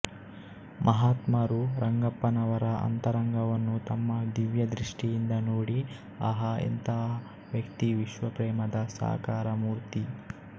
ಮಹಾತ್ಮರು ರಂಗಪ್ಪನವರ ಅಂತರಂಗವನ್ನು ತಮ್ಮ ದಿವ್ಯದೃಷ್ಟಿಯಿಂದ ನೋಡಿ ಆಹಾಎಂತಹ ವ್ಯಕ್ತಿವಿಶ್ವಪ್ರೇಮದ ಸಾಕಾರ ಮೂರ್ತಿ